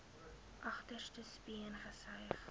agterste speen gesuig